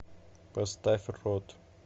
поставь род